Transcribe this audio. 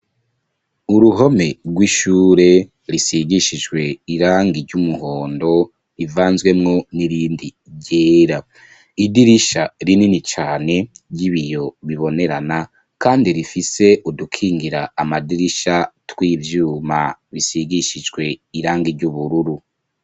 Uruhome rw'ishure risigishijwe irangi ry'umuhondo rivanzwemwo n'irindi ryera, idirisha rinini cane ry'ibiyo bibonerana kandi rifise udukingira amadirisha tw'ivyuma bisigishijwe irangi ryubururu.